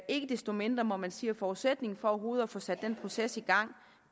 ikke desto mindre må man sige at forudsætningen for overhovedet at få sat den proces i gang